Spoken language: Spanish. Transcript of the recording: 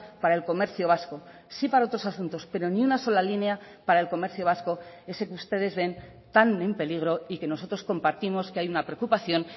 para el comercio vasco sí para otros asuntos pero ni una sola línea para el comercio vasco ese que ustedes ven tan en peligro y que nosotros compartimos que hay una preocupación